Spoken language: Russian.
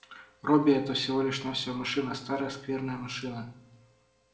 робби это всего лишь навсего машина старая скверная машина